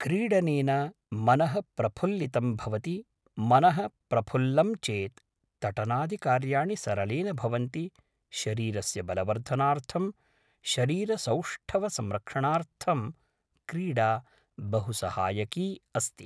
क्रीडनेन मनः प्रफुल्लितं भवति मनः प्रफुल्लं चेत् तटनादिकार्याणि सरलेण भवन्ति शरीरस्य बलवर्धनार्थं शरीरसौष्ठवसंरक्षणार्थं क्रीडा बहु सहायकी अस्ति